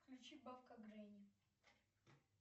включи бабка гренни